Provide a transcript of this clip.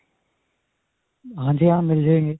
ਹਾਂਜੀ ਹਾਂ. ਮਿਲ ਜਾਣਗੇ.